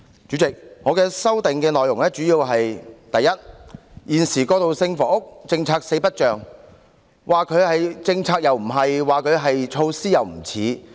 主席，我的修正案的主要內容是：第一，現時過渡性房屋政策四不像，說它是政策又不是，說它是措施也不像。